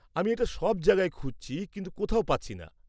আমি এটা সব জায়গায় খুঁজছি কিন্তু কোথাও পাচ্ছি না।